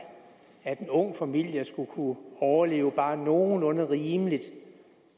at en ung familie skulle kunne overleve bare nogenlunde rimeligt